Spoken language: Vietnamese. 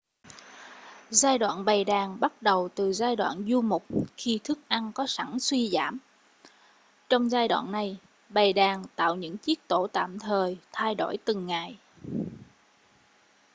giai đoạn bầy đàn bắt đầu từ giai đoạn du mục khi thức ăn có sẵn suy giảm trong giai đoạn này bầy đàn tạo những chiếc tổ tạm thời thay đổi từng ngày